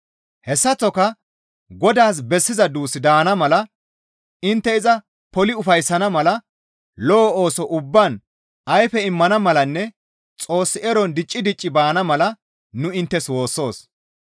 Hessaththoka Godaas bessiza duus daana mala intte iza poli ufayssana mala lo7o ooso ubbaan ayfe immana malanne Xoos eron dicci dicci baana mala nu inttes woossoos.